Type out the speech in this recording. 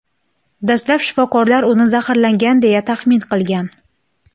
Dastlab shifokorlar uni zaharlangan, deya taxmin qilgan.